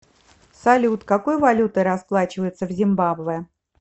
салют какой валютой расплачиваются в зимбабве